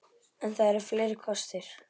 En það eru fleiri kostir.